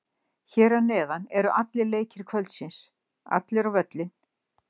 Hér að neðan eru allir leikir kvöldsins, allir á völlinn!